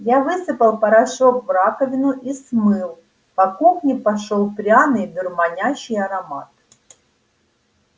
я высыпал порошок в раковину и смыл по кухне пошёл пряный дурманящий аромат